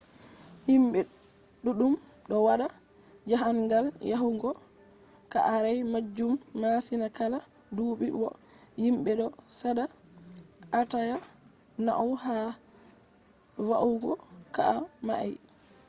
himbe duddum do wada jahangal yahugo ka'are majum masin kala dubi bo himbe do sada atawa nauni ha va'ugo ka'a mai